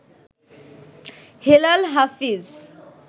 Helal Hafiz